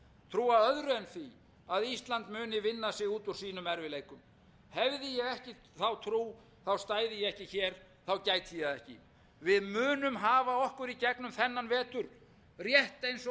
því að ísland muni vinna sig út úr sínum erfiðleikum hefði ég ekki þá trú stæði ég ekki hér þá gæti ég það ekki við munum hafa okkur í gegnum þennan vetur rétt eins og þá ellefu hundruð fimmtíu sem